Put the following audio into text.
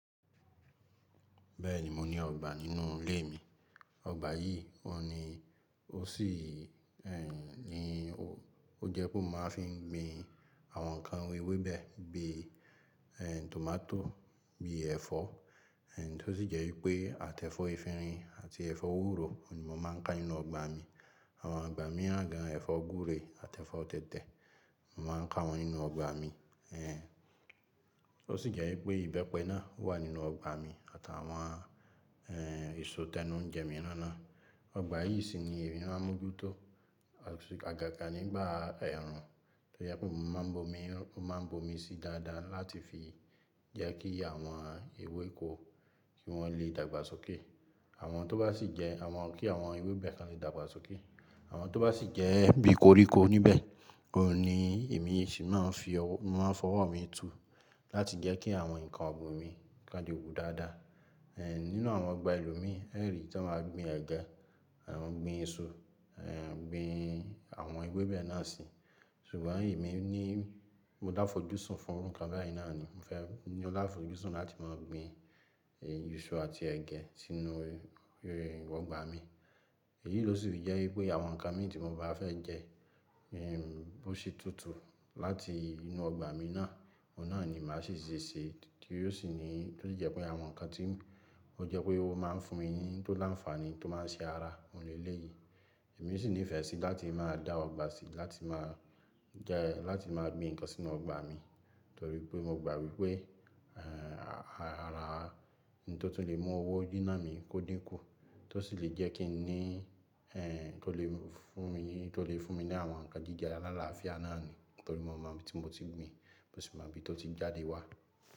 Bẹ́ẹ̀ni, mo ní ọgbà nínú ilé mi. Ọgbà yìí ohun ni mo sì, ehn, ní o, ó jẹ́ pé mo máa fi ń gbin àwọn nǹkan ewébẹ̀ bí, ehn, tòmátò, bí ẹ̀fọ́, ehn, tó sì jẹ́ wípé àtẹ'fọ́ efinrin àti ẹ̀fọ́ ewúro ni mo máa ń ká nínú ọgbà mi. Àwọn igbà míran gan an, ẹ̀fọ́ gbúre àtẹ fọ́ tẹ̀tẹ̀, mo máa ń ká wọn nínú ọgbà mi. Àwọn nǹkan ewébẹ̀ bí, ehn, tòmátò, bí ẹ̀fọ́, ehn, tó sì jẹ́ wípé àtẹ'fọ́ efinrin àti ẹ̀fọ́ ewúro ni mo máa ń ká nínú ọgbà mi. Ó jẹ́ pé mo máa ń bomi, mo máa ń bomi sí dáadáa láti fi jẹ́ kí àwọn ewéko kí wọ́n lè dàgbà sókè. Àwọn tó bá sì jẹ́, àwọn bi àwọn ewébẹ̀ tan lè dàgbà sókè. Àwọn tó bá sì jẹ́ bí koríko níbẹ̀, òní èmi sì máa ń fi ọwọ́, mo máa ń fọwọ́ mi tu láti jẹ́ kí àwọn nǹkan ọ̀gbin mi ká le wú dáadáa. Ehn, nínú àwọn ọgbà ìlú mi, ẹ̀ rì tí wọ́n máa gbin ẹ̀gẹ́, wọ́n gbin isu, ehn, gbin àwọn ewébẹ̀ náà sí. Ṣùgbọ́n èmi ní, mo láfojúsùn fún àwọn nǹkan báyìí náà ni. Mo fẹ́ ní ọláfojúsùn láti máa gbin, ehn, èso àti ẹ̀gẹ́ sínú, rí, rí, ọgbà mi. Èyí ló sì jẹ́ wípé àwọn nǹkan mi tí mo bá fẹ́ jẹ, ehn, bó ṣe túntùn láti inú ọgbà mi náà, òun náà ni màá sì ṣe, tí ó sì ní tó sì jẹ́ pé àwọn nǹkan tí ó jẹ́ pé ó máa ń fún mi ní tó láǹfààní tó máa ń ṣe ara oun ni eleyí. Èmi sì ní ìfẹ́ sí láti máa dá ọgbà sí láti máa jẹ́, láti máa gbin nǹkan sínú ọgbà mi torí pé mo gbà wípé, ehn, ara, ohun tó tún lè mú owó nínà mi kó dínkù, tó sì lè jẹ́ kí n ní, ehn, tó lè fún mi, tó lè fún mi ní àwọn nǹkan jíjẹ alálàáfíà náà ni torí mo mọ̀ bí tí mo ti gbìn, mo sì mọ̀ bí ó ti jáde wá.